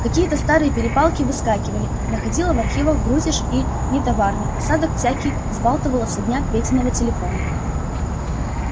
какие-то старые перепалки выскакивали находило в архивах грузишь и нетоварный осадок всякий взбалтывало со дна петиного телефона